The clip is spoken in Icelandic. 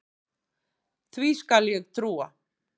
Því skal ég trúa